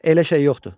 Elə şey yoxdur.